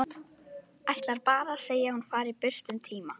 Ætlar bara að segja að hún fari burt um tíma.